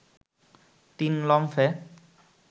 তিন লম্ফে